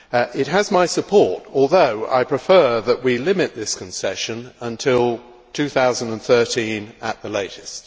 It has my support, although I prefer that we limit this concession until 2013 at the latest.